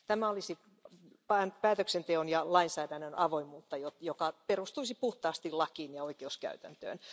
Tämä olisi päätöksenteon ja lainsäädännön avoimuutta, joka perustuisi puhtaasti lakiin ja oikeuskäytäntöön.